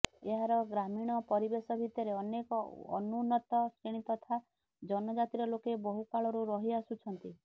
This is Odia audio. ଏହାର ଗ୍ରାମୀଣ ପରିବେଶ ଭିତରେ ଅନେକ ଅନୁନ୍ନତ ଶ୍ରେଣୀ ତଥା ଜନଜାତିର ଲୋକେ ବହୁ କାଳରୁ ରହି ଆସୁଛନ୍ତି